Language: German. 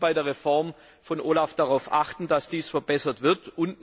Wir müssen bei der Reform von OLAF darauf achten, dass dies verbessert wird.